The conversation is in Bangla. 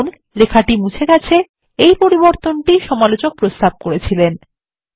দেখুন লেখাটি মুছে গেছে এই পরিবর্তনটি ই সমালোচক প্রস্তাব করেছিলেন